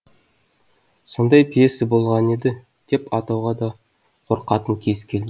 сондай пьеса болған еді деп атауға да қорқатын кез келді